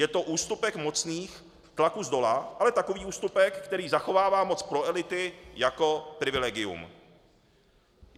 Je to ústupek mocných tlaků zdola, ale takový ústupek, který zachovává moc pro elity jako privilegium.